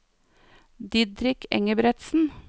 Didrik Engebretsen